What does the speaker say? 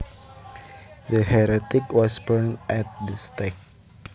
The heretic was burned at the stake